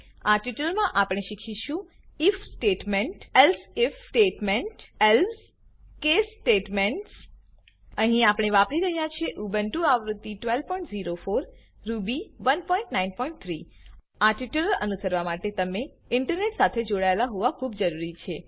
આ ટ્યુટોરીયલમા આપણે શીખીશું if statement if statement elsif statement if else statement else else case statements case statement અહીં આપણે વાપરી રહ્યા છે ઉબુન્ટુ આવૃત્તિ 1204 રૂબી 193 આ ટ્યુટોરીયલ અનુસરવા માટે તમે ઈન્ટરનેટ સાથે જોડાયેલા હોવા ખુબ જરૂરી છે